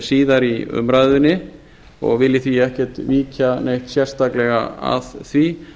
síðar í umræðunni og vil ég því ekki víkja neitt að því